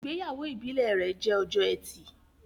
Ìgbéyàwó ìbílè rẹ jẹ Ọjọ́ Ẹti